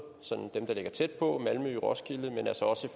dem der ligger tæt på malmø og roskilde men altså også